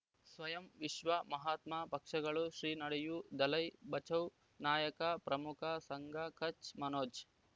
ಸ್ವಯಂ ವಿಶ್ವ ಮಹಾತ್ಮ ಪಕ್ಷಗಳು ಶ್ರೀ ನಡೆಯೂ ದಲೈ ಬಚೌ ನಾಯಕ ಪ್ರಮುಖ ಸಂಘ ಕಚ್ ಮನೋಜ್